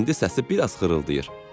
İndi səsi biraz xırıldayır."